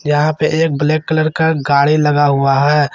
यहां पे एक ब्लैक कलर का गाड़ी लगा हुआ है।